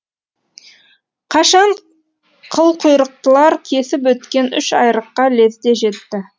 қашқан қылқұйрықтылар кесіп өткен үш айрыққа лезде жетті